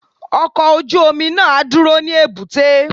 Ọkọ̀ ojú omi náà á dúró ní èbúté.